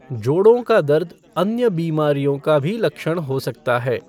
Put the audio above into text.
जोड़ों का दर्द अन्य बीमारियों का भी लक्षण हो सकता है।